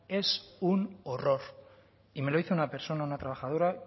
es un horror y me lo dice una persona una trabajadora